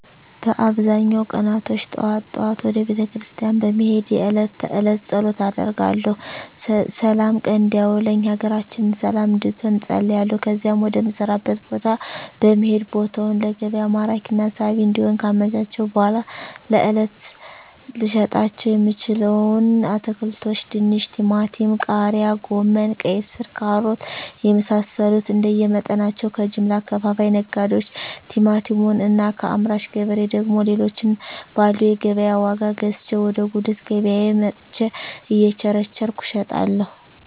በአብዛኛው ቀናቶች ጠዋት ጠዋት ወደ ቤተክርስቲያን በመሄድ የእለት ተእለት ፀሎት አደርጋለሁ ስላም ቀን እንዲያውለኝ ሀገራችንን ሰለም እንድትሆን እፀልያለሁ ከዚያም ወደ ምሰራበት ቦታ በመሄድ ቦታውን ለገቢያ ማራኪና ሳቢ እንዲሆን ካመቻቸሁ በኃላ ለእለት ልሸጣቸው የምችለዉን አትክልቶች ድንች ቲማቲም ቃሪያ ጎመን ቀይስር ካሮት የመሳሰሉትንእንደየ መጠናቸው ከጀምላ አከፋፋይ ነጋዴዎች ቲማቲሙን እና ከአምራች ገበሬ ደግሞ ሌሎችን ባለው የገቢያ ዋጋ ገዝቼ ወደ ጉልት ገቢያየ መጥቸ እየቸረቸርኩ እሸጣለሁ